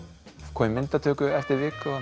koma í myndatöku eftir viku og